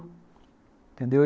Entendeu?